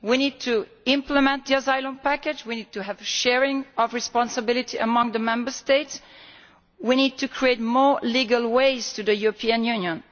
We need to implement the Asylum Package, we need to have sharing of responsibility among the Member States, we need to create more legal ways to the European Union.